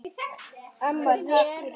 Amma, takk fyrir allt.